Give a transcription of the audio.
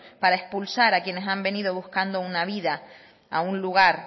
para expulsar a quienes han venido buscando una vida a un lugar